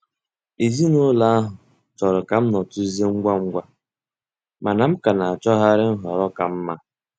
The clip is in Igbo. Ezinụlọ ahụ chọrọ ka m nọtuzie ngwa ngwa, mana m ka na-achọgharị nhọrọ ka mma.